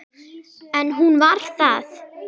En hún var það.